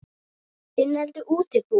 Innlend útibú.